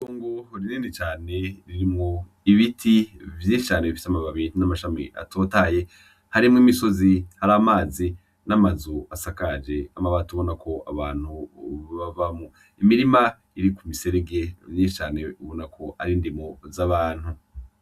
Itongo rinini cane ririmwo ibiti vyinshi cane bifis'amababi n'amashami atotahaye . Harimw'imisozi , har'amazi , n' amazu asakaje amabati ubona ko abantu boba babamwo , imirima iri ku miserege myinshi cane ubona ko ar'indimo z'abantu.